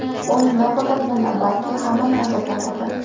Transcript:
U nafaqat meni, balki hammani ajablantirdi.